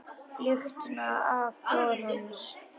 Lyktina af blóði hans.